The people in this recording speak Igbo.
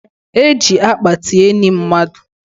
E ji akpati eni mmadụ